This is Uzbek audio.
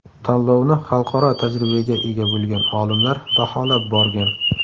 Tanlovni xalqaro tajribaga ega bo‘lgan olimlar baholab borgan.